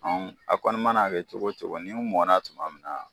A kɔni man'a kɛ cogo o cogo ni mɔna tuma min na